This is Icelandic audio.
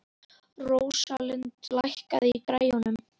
Rósalind, lækkaðu í græjunum.